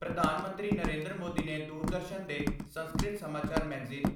ਪ੍ਰਧਾਨ ਮੰਤਰੀ ਨਰਿੰਦਰ ਮੋਦੀ ਨੇ ਦੂਰਦਰਸ਼ਨ ਦੇ ਸੰਸਕ੍ਰਿਤ ਸਮਾਚਾਰ ਮੈਗਜ਼ੀਨ